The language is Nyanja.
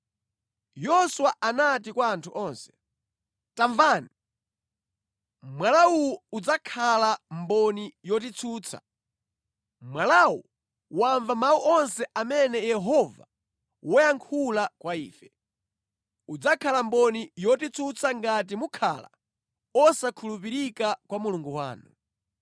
Yoswa anati kwa anthu onse, “Tamvani! Mwala uwu udzakhala mboni yotitsutsa. Mwalawu wamva mawu onse amene Yehova wayankhula kwa ife. Udzakhala mboni yotitsutsa ngati mukhala osakhulupirika kwa Mulungu wanu.”